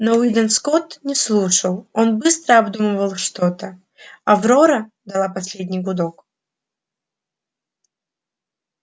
но уидон скотт не слушал он быстро обдумывал что то аврора дала последний гудок